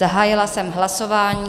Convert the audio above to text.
Zahájila jsem hlasování.